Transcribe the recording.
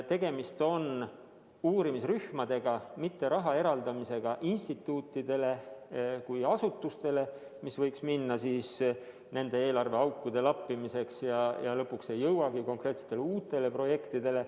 Tegemist on uurimisrühmadega, mitte raha eraldamisega instituutidele kui asutustele, kus see raha võiks minna nende eelarve aukude lappimiseks ja lõpuks ei jõuagi konkreetsete uute projektideni.